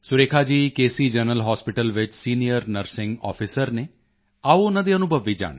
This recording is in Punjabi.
ਸੀ ਜਨਰਲ ਹਾਸਪਿਟਲ ਵਿੱਚ ਸੀਨੀਅਰ ਨਰਸਿੰਗ ਆਫਿਸਰ ਹਨ ਆਓ ਉਨ੍ਹਾਂ ਦੇ ਅਨੁਭਵ ਵੀ ਜਾਣਦੇ ਹਾਂ